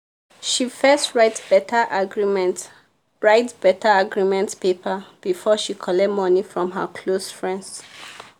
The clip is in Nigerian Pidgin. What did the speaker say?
she first write better agreement write better agreement paper before she collect money from her close friends.